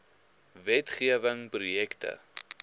wet gewing projekte